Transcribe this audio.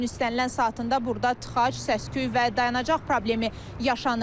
Günün istənilən saatında burda tıxac, səs-küy və dayanacaq problemi yaşanır.